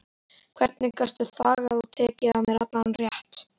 Hvernig gastu þagað og tekið af mér allan rétt?